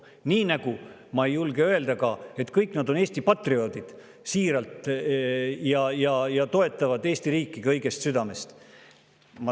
Nii nagu ma ei julge ka öelda, et kõik nad on siiralt Eesti patrioodid ja toetavad Eesti riiki kõigest südamest.